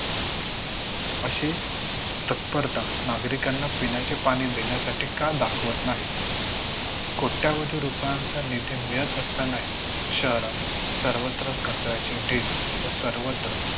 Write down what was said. अशी तत्परता नागरिकांना पिण्याचे पाणी देण्यासाठी का दाखवत नाही? कोट्यावधी रुपयांचा निधी मिळत असतानाही शहरात सर्वत्र कचऱ्याचे ढीग व सर्वत्र